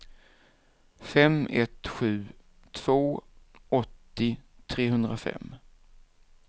fem ett sju två åttio trehundrafem